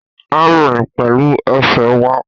A rìn pẹ̀lú ẹsẹ̀ wa